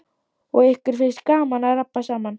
Og ykkur finnst gaman að rabba saman.